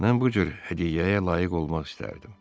Mən bu cür hədiyyəyə layiq olmaq istərdim.